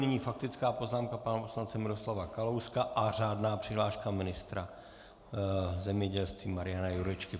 Nyní faktická poznámka pana poslance Miroslava Kalouska a řádná přihláška ministra zemědělství Mariana Jurečky.